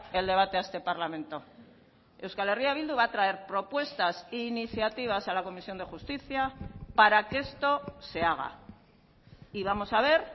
el debate a este parlamento euskal herria bildu va a traer propuestas e iniciativas a la comisión de justicia para que esto se haga y vamos a ver